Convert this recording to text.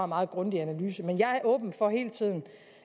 meget grundig analyse men jeg er hele åben for